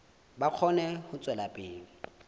ba kgone ho tswela pele